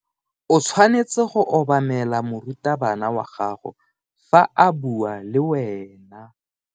O tshwanetse go obamela morutabana wa gago fa a bua le wena.